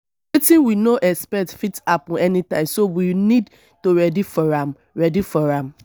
wetin we no expect fit happen any time so me need to ready for am ready for am